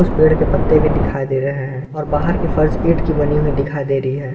पेड़ के पत्ते भी दिखाई दे रहे हैं और बाहर के फर्स ईंट की बनी हुई दिखाई दे रही है।